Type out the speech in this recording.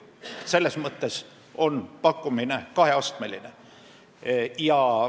Selles mõttes on pakkumine kaheastmeline.